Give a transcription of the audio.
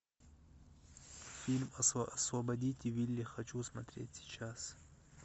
фильм освободите вилли хочу смотреть сейчас